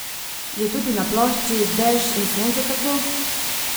Je tudi na plošči Dež in sonce tako?